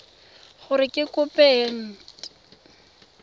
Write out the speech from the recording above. gore ke kopo e nt